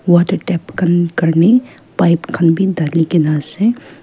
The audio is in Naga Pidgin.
water tap khan karney pipe khan b thali kena ase.